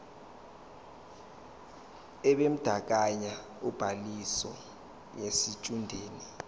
ebandakanya ubhaliso yesitshudeni